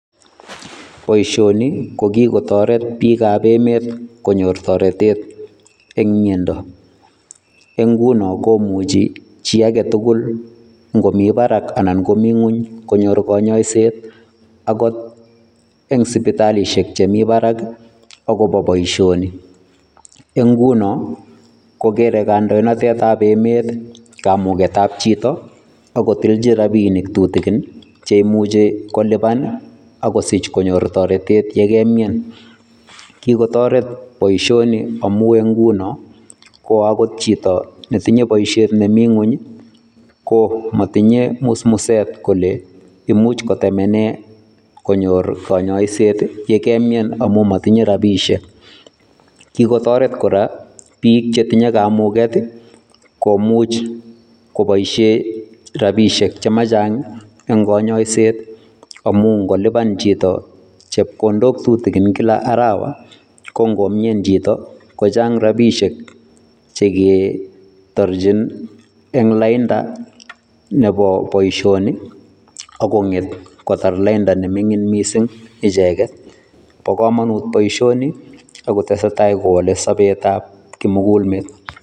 Boisioni kokikotoret biikab emet konyor toretet eng miando. Eng nguno komuchi chii agetugul ngomii barak anan komii ngony konyor kanyoisiet agot eng sipitalisiek chemii barak agobo boisioni. Eng nguno kokere kandoinatetab emet kamugetab chito akotilji rapinik tutigin cheimuchi koliban akosich konyor toretet yekemian. Kikotoret boisioni amuu eng nguno koangot chito netinye boisiet nemii ngonyi komatinye musmuset kole imuuch kotemenee konyor kanyoisiet yekemian amuu matinye rabisiek. Kikotoret kora biik chetinye kamuget komuch koboisie rabisiek chemachang eng kanyoiset amuu ngoliban chito chepkondok tutigin kila arawa kongomian chito kochang rabisiek cheketorchin eng lainda nebo boisioni akonget kotar lainda nemingin mising icheket bo komonut boisioni akotesetai kowale sobetab kimugulmet.